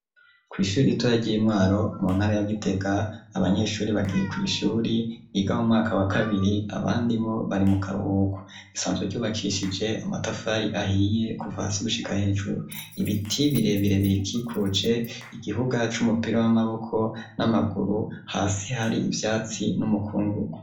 Kw'ishuri ritoya gimwaro mu ntara ya gitega abanyeshuri bagiye ku ishuri iga bu mwaka wa kabiri abandi bo bari mu kabuhuku isanzwe ryubakishije amatafari ahiye kuva hasi gushika hejuru ibiti birebirebirikikuce igihuga c'umupira w'amaboko n'amaguru hasi hari ibyatsi n'umukungugu.